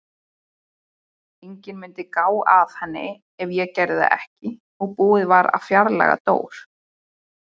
Enginn mundi gá að henni ef ég gerði það ekki og búið að fjarlægja Dór.